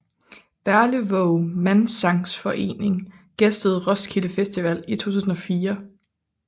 Berlevåg Mannssangsforening gæstede Roskilde Festival i 2004